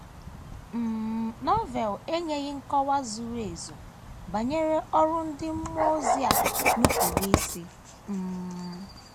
um Novel enyeghị nkọwa zuru ezu banyere ọrụ ndị mmụọ ozi a nupụrụ isi. um